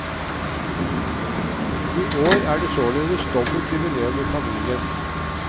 I år er det således dobbelt jubileum i familien.